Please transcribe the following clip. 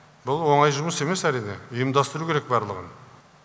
бұл оңай жұмыс емес әрине ұйымдастыру керек барлығын